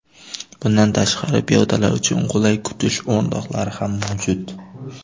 Bundan tashqari, piyodalar uchun qulay kutish o‘rindiqlari ham mavjud.